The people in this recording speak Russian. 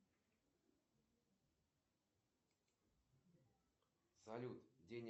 салют расскажи мне пожалуйста всю историю операций по картам и счетам